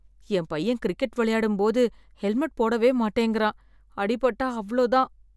என் பையன் கிரிக்கெட் விளையாடும் போதும்போது ஹெல்மெட் போடவே மாட்டேங்கிறான், அடிபட்டா அவ்ளோ தான்.